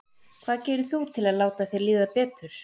Hvað gerir þú til að láta þér líða betur?